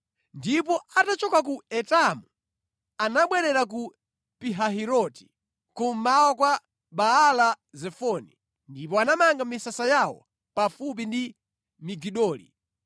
Ndipo atachoka ku Etamu, anabwerera ku Pihahiroti, kummawa kwa Baala-Zefoni, ndipo anamanga misasa yawo pafupi ndi Migidoli.